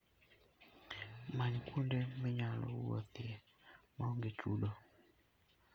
Many kuonde minyalo wuothie ma onge chudo.